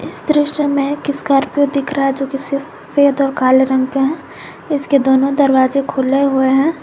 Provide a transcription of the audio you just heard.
इस दृश्य में एक स्कार्पियो दिख रहा हैं जो कि सफेद और काले रंग में हैं जिसके दोनों दरवाजे खुले हुए है।